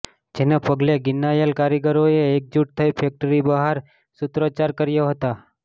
જેને પગલે ગિન્નાયેલા કારીગરોએ એકજૂટ થઇ ફેક્ટરી બહાર સૂત્રોચ્ચાર કર્યા હતા